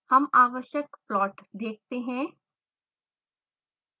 हम आवश्यक प्लॉट देखते हैं